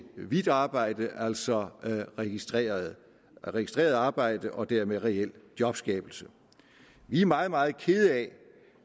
hvidt arbejde altså registreret registreret arbejde og dermed reel jobskabelse vi er meget meget kede af